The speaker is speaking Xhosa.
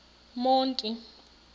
monti